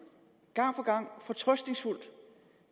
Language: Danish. der